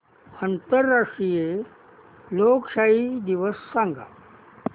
आंतरराष्ट्रीय लोकशाही दिवस सांगा